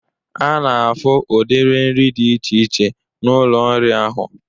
Ana afụ ụdiri nri dị iche iche n'ụlọ nri ahụ.